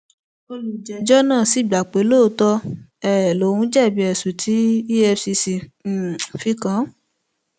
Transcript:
olùjẹjọ náà sì gbà pé lóòótọ um lòún jẹbi ẹsùn tí efcc um fi kàn án